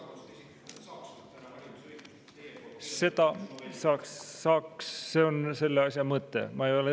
Seda saaks, see on selle asja mõte.